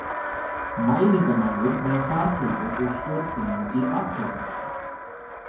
Mælingamaður með fartölvu og stjórnbúnað í bakpoka.